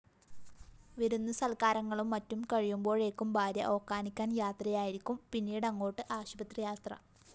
വിരുന്നുസല്‍ക്കാരങ്ങളും മറ്റും കഴിയുമ്പോഴേക്കും ഭാര്യ ഓക്കാനിക്കാന്‍ യാത്രയായിരിക്കും പിന്നീടങ്ങോട്ട് ആശുപത്രിയാത്ര